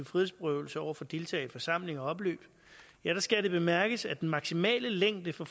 frihedsberøvelse over for deltagere i forsamlinger og opløb skal det bemærkes at den maksimale længde for